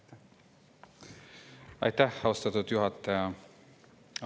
Aitäh, austatud juhataja!